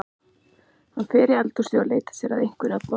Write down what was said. Hann fer í eldhúsið og leitar sér að einhverju að borða.